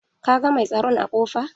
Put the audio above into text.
Ka ga mai tsaron a ƙofa?